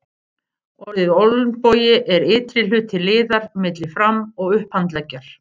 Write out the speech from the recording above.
Orðið olnbogi er ytri hluti liðar milli fram- og upphandleggjar.